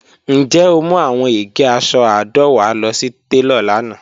Njẹ o mu awọn ege aṣọ àádọ́wá lọ si telo lana?